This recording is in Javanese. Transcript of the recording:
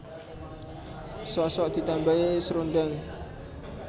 Sok sok ditambahi srundeng